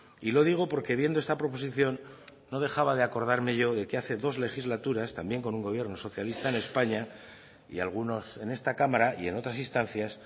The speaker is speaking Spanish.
y lo digo porque viendo esta proposición no dejaba de acordarme yo de que hace dos legislaturas también con un gobierno socialista en españa y algunos en esta cámara y en otras instancias